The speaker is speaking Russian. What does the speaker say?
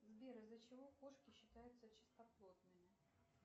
сбер из за чего кошки считаются чистоплотными